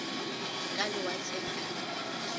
ka lewatleng ka ge e